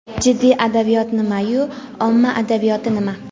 Jiddiy adabiyot nima-yu, omma adabiyoti nima?.